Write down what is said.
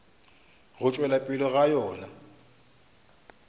go tšwelela pele ga yona